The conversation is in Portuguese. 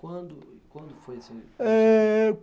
Quando, quando foi esse? eh...